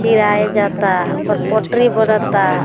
चिराय जाता ओकर पोटरी बनता।